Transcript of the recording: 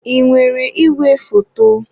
Ị nwere igwefoto?